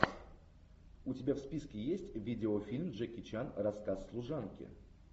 у тебя в списке есть видеофильм джеки чан рассказ служанки